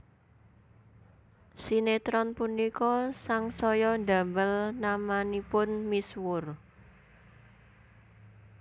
Sinétron punika sangsaya ndamel namanipun misuwur